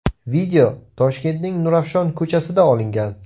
Video Toshkentning Nurafshon ko‘chasida olingan.